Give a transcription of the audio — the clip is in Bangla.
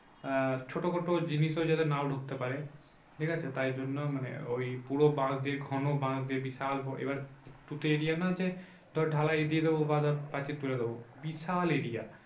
আহ ছোটোখাটো জিনিসও যাতে নাও ঢুকতে পারে। ঠিক আছে তাই জন্য মানে ওই পুরো বাঁশ দিয়ে ঘন বাঁশ দিয়ে বিশাল এবার একটু তো area না যে তোর ঢালাই দিয়ে দেবো বা ধর পাঁচিল তুলে দেবো। বিশাল area